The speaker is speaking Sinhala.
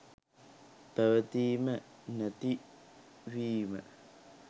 පැවතීම නැතිවීම